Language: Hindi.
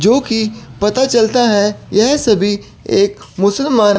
जो कि पता चलता है यह सभी एक मुसलमान--